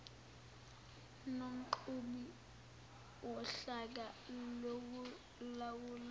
nomqhubi wohlaka lokulawula